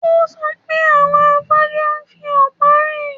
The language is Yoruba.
Ó sọ pé àwọn afọ́jú ń fi ọ̀pá rìn